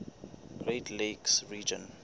great lakes region